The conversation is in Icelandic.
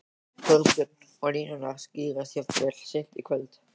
Þorbjörn: Og línurnar skýrast jafnvel seint í kvöld?